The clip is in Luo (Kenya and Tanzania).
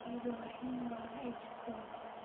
Iro inyowa e jikon